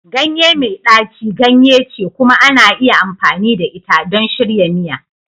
Ganye mai ɗaci ganye ce kuma ana iya amfani da ita don shirya miya.